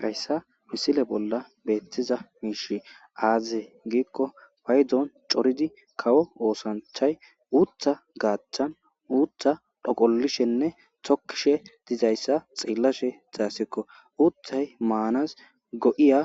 Hayissa misile bolli betiza mishi aze gikko payiddoni corridi kawo osanichayi utha gathani utha dhoqalishenne tokishe dizayissa xelashe deyasiko uthayi manasi go'iya